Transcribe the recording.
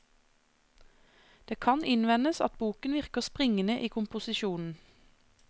Det kan innvendes at boken virker springende i komposisjonen.